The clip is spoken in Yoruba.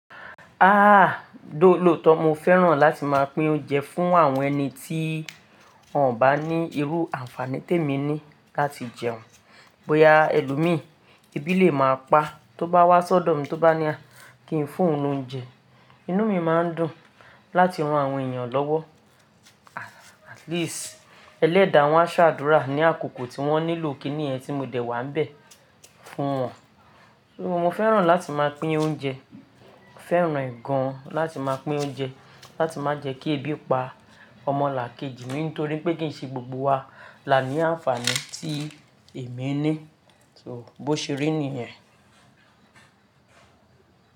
Ah! Looto mo fẹ́ràn láti máa pín oúnjẹ fún àwọn ẹni tí wọ́n ò bá ní irú àǹfàní tèmi ni láti jẹun. Bóyá ẹlòmíràn ebi lè máa pa, tó bá wá sọ́dọ̀ mi tó bá ní kí n fún un lóúnjẹ, inú mi máa ń dùn láti ran àwọn èèyàn lọ́wọ́. At least, ẹlẹ́dàá wọn á ṣàdúrà ní àkókò tí wọ́n nílò kí nìyẹn tí mo dẹ̀ wá ń bẹ̀ fún wọn. Mo fẹ́ràn láti máa pín oúnjẹ, fẹ́ràn e gan láti máa pín oúnjẹ láti má jẹ́ kí ebi pa ọmọlàkejì mi nítorí pé kì í ṣe gbogbo wa là ní àǹfàní tí èmi ní. So bó ṣe rí nìyẹn.